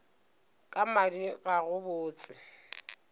ka madi ga go botse